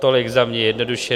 Tolik za mě jednoduše.